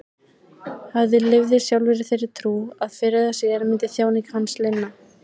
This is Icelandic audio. Hann lifði sjálfur í þeirri trú að fyrr eða síðar myndi þjáningum hans linna.